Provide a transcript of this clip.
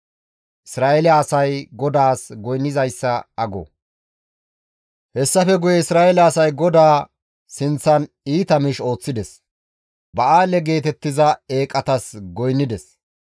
Hessafe guye Isra7eele asay GODAA sinththan iita miish ooththides; Ba7aale geetettiza eeqatas goynnides.